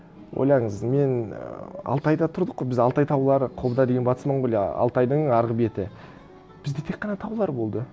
ойлаңыз мен ііі алтайда тұрдық қой біз алтай таулары қобда деген батыс монғолия алтайдың арғы беті бізде тек қана таулар болды